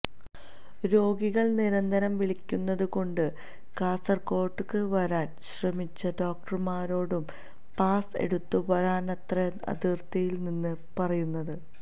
രോഗികൾ നിരന്തരം വിളിക്കുന്നത് കൊണ്ട് കാസർകോട്ടേക്ക് വരാൻ ശ്രമിച്ച ഡോക്ടര്മാരോടും പാസ്സ് എടുത്ത വരാനാണത്രെ അതിർത്തിയിൽ നിന്ന് പറയുന്നത്